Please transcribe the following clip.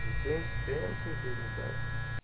за своим состоянием смотреть не знаю